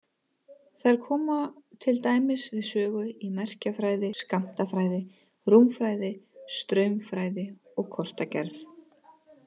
Þær koma til dæmis við sögu í merkjafræði, skammtafræði, rúmfræði, straumfræði og kortagerð.